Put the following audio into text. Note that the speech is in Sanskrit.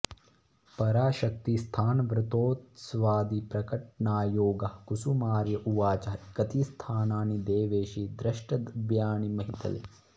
पराशक्ति स्थानव्रतोत्सवादि प्रकटणायोगः कुसुमार्य उवाचः कति स्थानानि देवेशि द्रष्टव्यानि महीतले